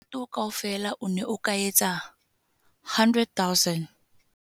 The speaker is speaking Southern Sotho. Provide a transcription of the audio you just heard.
Molato kaofela o ne o ka etsa R100 000.